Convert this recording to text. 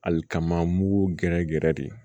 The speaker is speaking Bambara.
Hali kaman mugu gɛrɛ gɛrɛ de